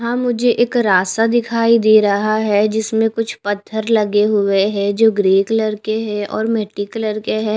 यहां मुझे एक रास्ता दिखाई दे रहा है जिसमें कुछ पत्थर लगे हुए हैं जो ग्रे कलर के हैं और मिट्टी कलर के हैं.